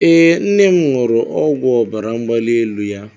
Ee, nne m ṅụrụ ọgwụ ọbara mgbali elu ya.